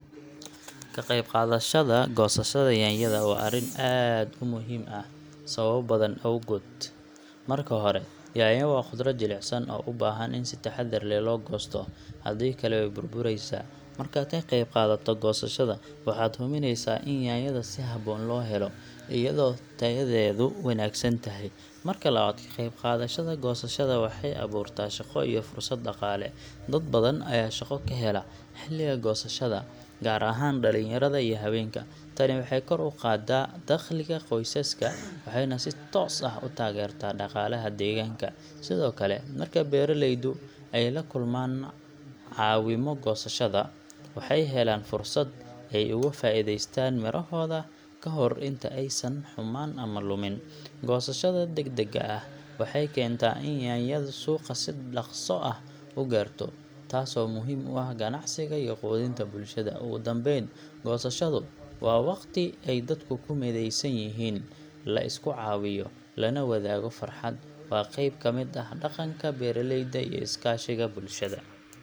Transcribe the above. Ka qaybqaadashada goosashada yaanyada waa arrin aad u muhiim ah sababo badan awgood. Marka hore, yaanyo waa khudrad jilicsan oo u baahan in si taxaddar leh loo goosto, haddii kale way burbureysaa. Markaad ka qaybqaadato goosashada, waxaad hubinaysaa in yaanyada si habboon loo helo iyadoo tayadeedu wanaagsan tahay. Marka labaad, ka qaybqaadashada goosashada waxay abuurtaa shaqo iyo fursad dhaqaale. Dad badan ayaa shaqo ka hela xilliga goosashada, gaar ahaan dhalinyarada iyo haweenka. Tani waxay kor u qaaddaa dakhliga qoysaska, waxayna si toos ah u taageertaa dhaqaalaha deegaanka. Sidoo kale, marka beeraleydu ay la kulmaan caawimo goosashada, waxay helaan fursad ay uga faa’iideystaan midhahooda kahor inta aysan xumaan ama lummin. Goosashada degdegga ah waxay keentaa in yaanyadu suuqa si dhakhso ah u gaarto, taasoo muhiim u ah ganacsiga iyo quudinta bulshada. Ugu dambayn, goosashadu waa waqti ay dadku ku mideysan yihiin, la isku caawiyo, lana wadaago farxad. Waa qayb ka mid ah dhaqanka beeraleyda iyo is-kaashiga bulshada.